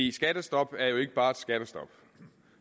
et skattestop er jo ikke bare et skattestop i